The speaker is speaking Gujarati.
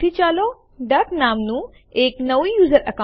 તે ફાઈલ નામ ડેમો1 થી કોપી કરશે